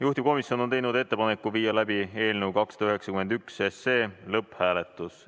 Juhtivkomisjon on teinud ettepaneku viia läbi eelnõu 291 lõpphääletus.